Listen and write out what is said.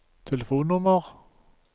telefonnummer